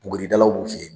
Buguridalaw b'u fe yen